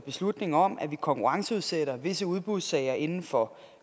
beslutning om at vi konkurrenceudsætter visse udbudssager inden for